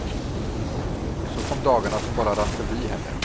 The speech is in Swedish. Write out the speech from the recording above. Så kom dagarna som bara rann förbi henne.